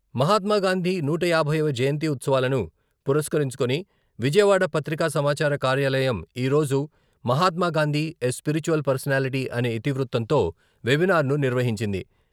మహాత్మాగాంధీ నూట యాభైవ జయంతి ఉత్సవాలను పురస్కరించుకుని విజయవాడ పత్రికా సమాచార కార్యాలయం ఈరోజు 'మహాత్మాగాంధీ ఎ స్పిరిచ్యువల్ పర్సనాలిటీ 'అనే ఇతివృత్తంతో వెబినార్ను నిర్వహించింది.